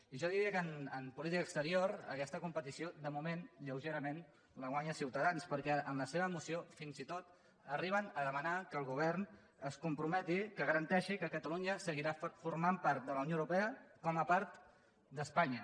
i jo diria que en política exterior aquesta competició de moment lleugerament la guanya ciutadans perquè en la seva moció fins i tot arriben a demanar que el govern es comprometi que garanteixi que catalunya seguirà formant part de la unió europea com a part d’espanya